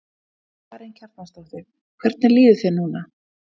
Karen Kjartansdóttir: Hvernig líður þér núna?